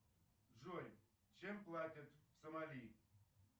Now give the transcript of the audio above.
джой чем платят в сомали